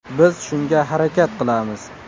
Biz shunga harakat qilamiz.